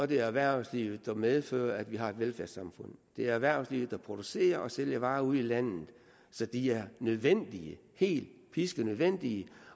det erhvervslivet der medfører at vi har et velfærdssamfund det er erhvervslivet der producerer og sælger varer ude i landet så det er nødvendigt helt piskenødvendigt